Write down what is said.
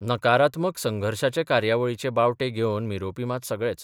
नकारात्मक संघर्शाचे कार्यावळीचे बावटे घेवन मिरोबपी मात सगळेच.